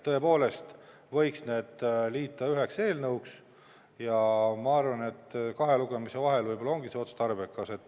Tõepoolest võiks need liita üheks eelnõuks ja ma arvan, et kahe lugemise vahel võib-olla ongi see otstarbekas.